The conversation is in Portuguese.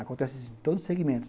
Acontece em todos os segmentos.